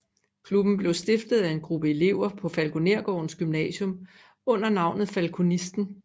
Klubben blev stiftet af en gruppe elever på Falkonergårdens gymnasium under navnet Falkonisten